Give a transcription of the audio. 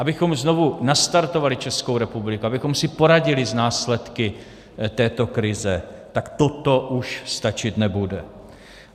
Abychom znovu nastartovali Českou republiku, abychom si poradili s následky této krize, tak toto už stačit nebude.